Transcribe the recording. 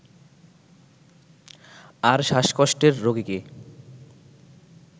আর শ্বাসকষ্টের রোগীকে